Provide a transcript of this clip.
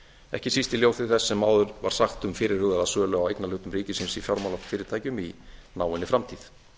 ekki síst í ljósi þess sem áður var sagt um fyrirhugaða sölu á eignarhlutum ríkisins í fjármálafyrirtækjum í náinni framtíð